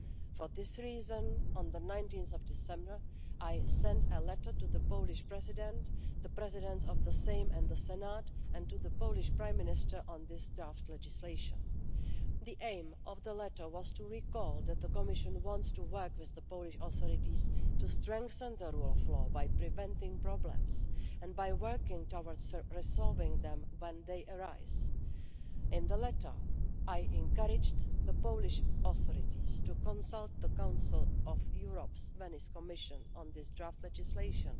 For this reason, on 19 December, I sent a letter to the Polish President, the presidents of the Sejm and the Senate, and to the Polish Prime Minister on this draft legislation. The aim of the letter was to recall that the Commission wants to work with the Polish authorities to strengthen the rule of law by preventing problems and by working towards resolving them when they arise. In the letter, I encouraged the Polish authorities to consult the Council of Europe's Venice Commission on this draft legislation